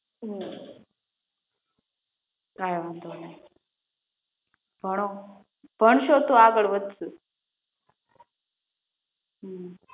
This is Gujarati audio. હમ કઈ વાંધો નાઈ ભણો ભણશો તો આગળ વધશું